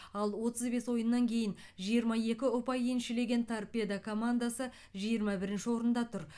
ал отыз бес ойыннан кейін жиырма екі ұпай еншілеген торпедо командасы жиырма бірінші орында тұр